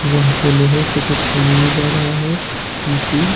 जहाँ पर लोहे से कुछ बनाया जा रहा है मशीन --